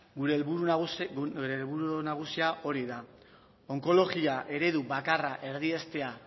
gure helburu nagusia hori da onkologia eredu bakarra erdiestea